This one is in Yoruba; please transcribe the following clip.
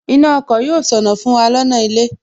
Iná ọkọ̀ yóò ṣọnà fún wa lọ́nà ilé